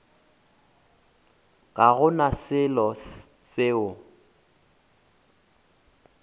ga go na selo seo